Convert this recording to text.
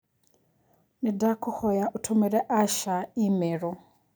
Nĩndakũhoya ũtũmĩre Asha i-mīrū